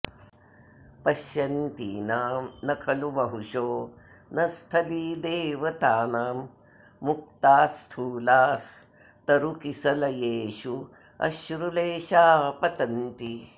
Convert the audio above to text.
पश्यन्तीनां न खलु बहुशो न स्थलीदेवतानां मुक्तास्थूलास्तरुकिसलयेष्वश्रुलेशाः पतन्ति